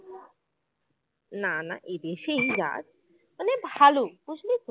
না না এদেশেই জাত মানে ভালো বুঝলি তো